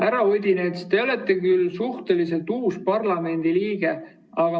Härra Odinets, te olete suhteliselt uus parlamendiliige.